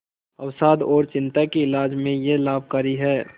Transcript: अवसाद और चिंता के इलाज में यह लाभकारी है